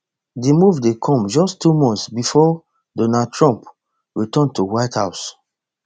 di move dey come just two months bifor donald trump return to white house